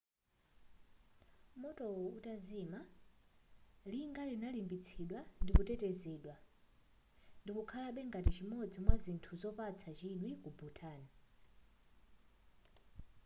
motowo utazima linga linalimbitsidwa ndikutetezedwa ndikukhalabe ngati chimodzi mwa zithu zopatsa chidwi ku bhutan